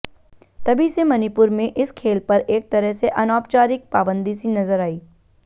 तभी से मणिपुर में इस खेल पर एक तरह से अनौपचारिक पाबंदी सी नजर आई